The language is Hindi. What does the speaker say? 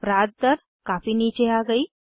अपराध दर काफी नीचे आ गयी है